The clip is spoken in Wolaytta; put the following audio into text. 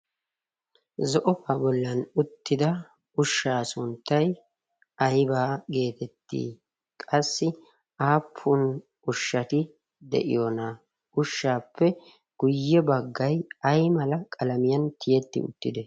zo'obaa bollan uttida ushshaa sunttay aybaa geetetti qassi aappun ushshati de'iyoona ushshaappe guyye baggay ay mala qalamiyan tiyetti uttite